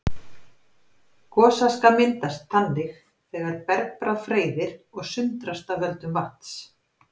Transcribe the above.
Gosaska myndast þannig þegar bergbráð freyðir og sundrast af völdum vatns.